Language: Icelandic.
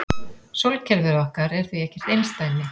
Sólkerfið okkar er því ekkert einsdæmi.